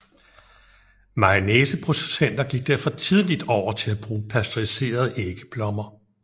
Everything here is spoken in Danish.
Mayonnaiseproducenter gik derfor tidligt over til at bruge pasteuriserede æggeblommer